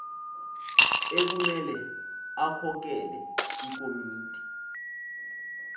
ekumele akhokele ikomiti